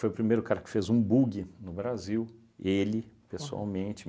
Foi o primeiro cara que fez um buggy no Brasil, ele, pessoalmente